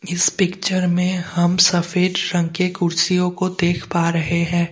इस पिक्चर में हम सफेद रंग के कुर्सियों को देख पा रहे हैं।